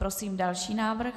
Prosím další návrh.